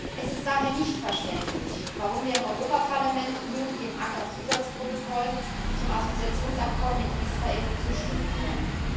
Es ist daher nicht verständlich, warum wir im Europaparlament nun dem ACAA Zusatzprotokoll zum Assoziationsabkommen mit Israel zustimmen sollen.